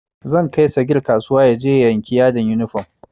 Zan kai sagir kasuwa yaje ya yanki yadin yunifom